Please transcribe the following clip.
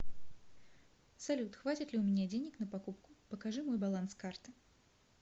салют хватит ли у меня денег на покупку покажи мой баланс карты